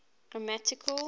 grammatical